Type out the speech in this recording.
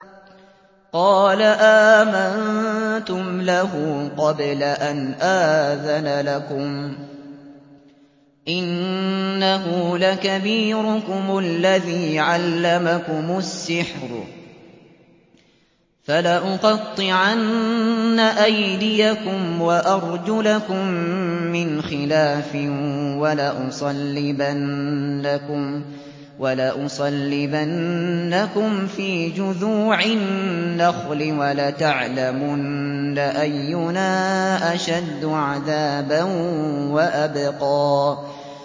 قَالَ آمَنتُمْ لَهُ قَبْلَ أَنْ آذَنَ لَكُمْ ۖ إِنَّهُ لَكَبِيرُكُمُ الَّذِي عَلَّمَكُمُ السِّحْرَ ۖ فَلَأُقَطِّعَنَّ أَيْدِيَكُمْ وَأَرْجُلَكُم مِّنْ خِلَافٍ وَلَأُصَلِّبَنَّكُمْ فِي جُذُوعِ النَّخْلِ وَلَتَعْلَمُنَّ أَيُّنَا أَشَدُّ عَذَابًا وَأَبْقَىٰ